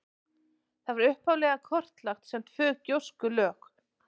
Það var upphaflega kortlagt sem tvö gjóskulög.